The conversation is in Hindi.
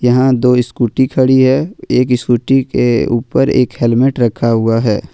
यहां दो स्कूटी खड़ी है एक स्कूटी के ऊपर एक हेलमेट रखा हुआ है।